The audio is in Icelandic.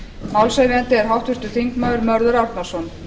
málshefjandi er háttvirtur þingmaður mörður árnason